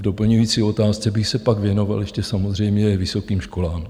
V doplňující otázce bych se pak věnoval ještě samozřejmě vysokým školám.